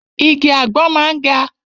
Igi àgbọn máa ń ga.